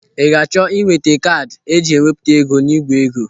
Ị ga-achọ inweta kaadị eji e wepụta ego n'igwe ego?